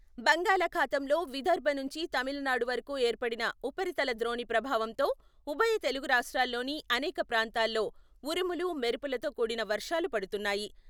బంగాళాఖాతంలో విదర్భ నుంచి తమిళనాడు వరకు ఏర్పడిన ఉపరితల ద్రోణి ప్రభావంతో ఉభయ తెలుగు రాష్ట్రాల్లోని అనేక ప్రాంతాల్లో ఉరుములు, మెరుపులతో కూడిన వర్షాలు పడుతున్నాయి.